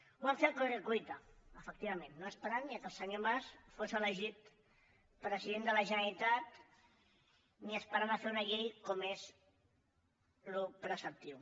ho van fer a corre cuita efectivament no esperant ni que el senyor mas fos elegit president de la generalitat ni esperant a fer una llei com és el preceptiu